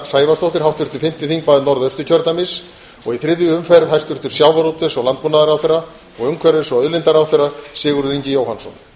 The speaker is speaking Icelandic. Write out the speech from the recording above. sævarsdóttir háttvirtur fimmti þingmaður norðausturkjördæmis og í þriðju umferð hæstvirtur sjávarútvegs og landbúnaðarráðherra og umhverfis og auðlindaráðherra sigurður ingi jóhannsson